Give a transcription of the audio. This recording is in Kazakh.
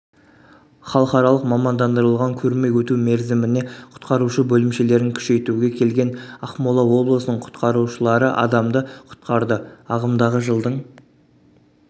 халықаралық мамандандырылған көрме өту мерзіміне құтқарушы бөлімшелерін күшейтуге келген ақмола облысының құтқарушалары адамды құтқарды ағымдағы жылдың